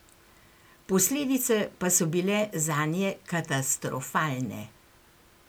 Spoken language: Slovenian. Posledice pa so bile zanje katastrofalne.